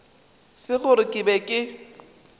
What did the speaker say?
se gore ke be ke